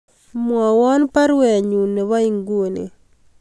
Mwowon baruenyun nebo inguni